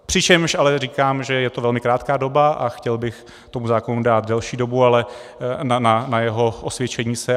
Přičemž ale říkám, že je to velmi krátká doba, a chtěl bych tomu zákonu dát delší dobu na jeho osvědčení se.